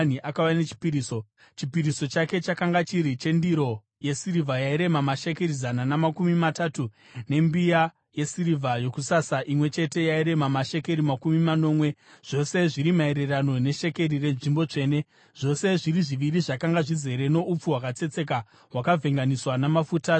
Chipiriso chake chakanga chiri chendiro yesirivha yairema mashekeri zana namakumi matatu, nembiya yesirivha yokusasa imwe chete yairema mashekeri makumi manomwe, zvose zviri maererano neshekeri renzvimbo tsvene, zvose zviri zviviri zvakanga zvizere noupfu hwakatsetseka hwakavhenganiswa namafuta sechipiriso chezviyo;